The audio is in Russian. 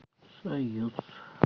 союз